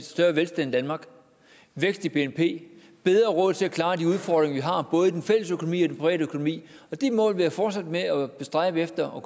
større velstand i danmark vækst i bnp bedre råd til at klare de udfordringer vi har både i den fælles økonomi og den private økonomi de mål vil jeg fortsætte med at stræbe efter